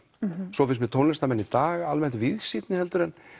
svo finnst mér tónlistarmenn í dag almennt víðsýnni en